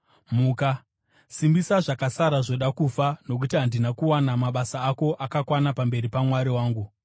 Muka! Simbisa zvakasara zvoda kufa, nokuti handina kuwana mabasa ako akakwana pamberi paMwari wangu.